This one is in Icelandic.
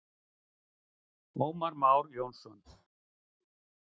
Ómar Már Jónsson.